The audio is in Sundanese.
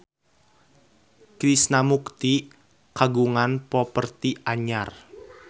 Krishna Mukti kagungan properti anyar